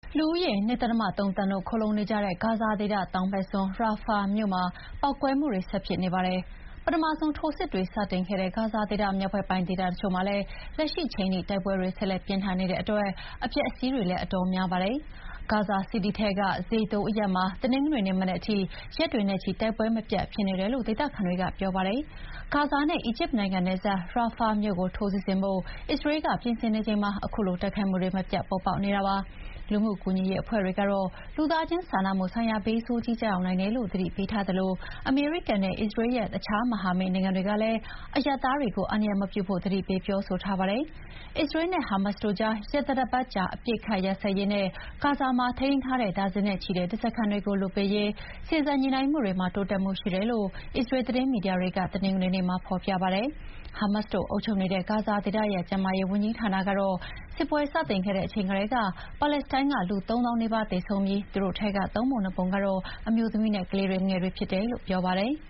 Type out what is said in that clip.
လူဦးရေ ၂.၃ သန်း ခိုလှုံနေကြတဲ့ ဂါဇာဒေသတောင်ဘက်စွန်း Rafah မြို့ ကောင်းကင်ယံပေါ်မှာ ပေါက်ကွဲမှုတွေ ဆက်ဖြစ်နေပါတယ်။ ပထမဆုံးထိုးစစ်တွေစတင်ခဲ့တဲ့ ဂါဇာဒေသမြောက်ဘက်ပိုင်းဒေသတချို့မှာလည်း လက်ရှိချိန်ထိ တိုက်ပွဲတွေဆက်လက်ပြင်းထန်နေတဲ့အတွက် အပျက်အစီးတွေလည်းအတော်များပါတယ်။ Gaza City ထဲက Zaytoun အရပ်မှာ တနင်္ဂနွေနေ့မနက်ထိ ရက်တွေနဲ့ချီ တိုက်ပွဲမပြတ်ဖြစ်နေတယ်လို့ ဒေသခံတွေက ပြောပါတယ်။ ဂါဇာနဲ့အီဂျစ်နိုင်ငံနယ်စပ်၊ Rafah မြို့ကို ထိုးစစ်ဆင်ဖို့ အစ္စရေးလ်က ပြင်ဆင်နေချိန်မှာ ခုလို တိုက်ခိုက်မှုတွေမပြတ် ပေါ်ပေါက်နေတာပါ။ လူမှုကူညီရေးအဖွဲ့တွေက လူသားချင်းစာနာမှုဆိုင်ရာ ဘေးဆိုးကြီးကျရောက်နိုင်တယ်လို့ သတိပေးထားသလို အမေရိကန်နဲ့အစ္စရေးရဲ့ အခြားမဟာမိတ်နိုင်ငံတွေကလည်း အရပ်သားတွေကို အန္တရာယ်မပြုဖို့ သတိပေးပြောဆိုထားပါတယ်။ အစ္စရေးနဲ့ ဟာမတ်စ်တို့ကြား ရက်သတ္တပတ်ကြာ အပစ်အခတ်ရပ်စဲရေးနဲ့ ဂါဇာမှာထိန်းသိမ်းထားတဲ့ ဒါဇင်နဲ့ချီတဲ့ဓားစာခံတွေကို လွှတ်ပေးရေး စေ့စပ်ညှိနှိုင်းမှုတွေမှာ တိုးတက်မှုရှိတယ်လို့ အစ္စရေးလ်သတင်း မီဒီယာတွေက တနင်္ဂနွေနေ့မှာ ဖော်ပြပါတယ်။ ဟာမတ်စ်တို့အုပ်ချုပ်နေတဲ့ ဂါဇာဒေသရဲ့ကျန်းမာရေးဝန်ကြီးဌာနကတော့ စစ်ပွဲစတင်ခဲ့တဲ့အချိန်ကတည်းက ပါလက်စတိုင်းကလူ ၃၀,၀၀၀ နီးပါးသေဆုံးခဲ့ပြီး သူတို့ထဲက ၃ ပုံ ၂ ပုံက အမျိုးသမီးနဲ့ကလေးငယ်တွေဖြစ်တယ်လို့ ပြောပါတယ်။